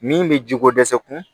Min bɛ jiko dɛsɛ kun